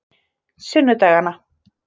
sunnudagana